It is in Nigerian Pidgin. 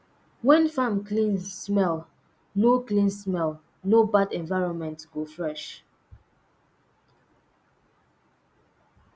when farm clean smell no clean smell no bad environment go fresh